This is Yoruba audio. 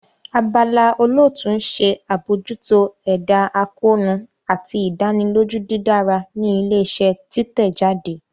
Abala olootu n ṣe abojuto ẹda akoonu ati idaniloju didara ni ile-iṣẹ titẹjade.